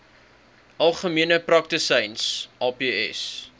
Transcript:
algemene praktisyns aps